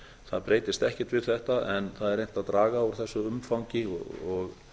það breytist ekkert við þetta en það er reynt að draga úr þessu umfangi og